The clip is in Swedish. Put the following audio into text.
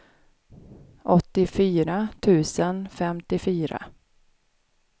åttiofyra tusen femtiofyra